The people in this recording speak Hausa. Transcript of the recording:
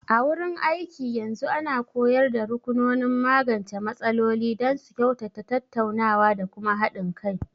A wurin aiki, yanzu ana koyar da rukunonin magance matsaloli don su kyautata tattaunawa da kuma haɗin kai.